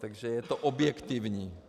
Takže je to objektivní.